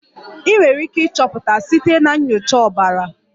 Ị nwere ike ịchọpụta site na nyocha ọbara.